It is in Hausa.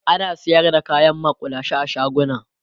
ana sayar da kayan makullashe a shaguna